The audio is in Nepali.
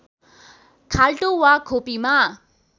खाल्टो वा खोपीमा